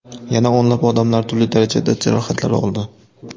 Yana o‘nlab odamlar turli darajada jarohatlar oldi.